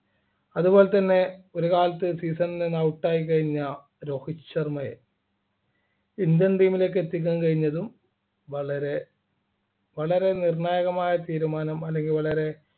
അതുപോലെതന്നെ ഒരുകാലത്ത് season ൽ നിന്ന് out ആയി കഴിഞ്ഞ രോഹിത് ശർമയെ Indian team ലേക്ക് എത്തിക്കാൻ കഴിഞ്ഞതും വളരെ വളരെ നിർണായകമായ തീരുമാനമാണ് അല്ലെങ്കി വളരെ